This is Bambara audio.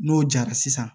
N'o jara sisan